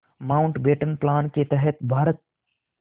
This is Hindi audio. माउंटबेटन प्लान के तहत भारत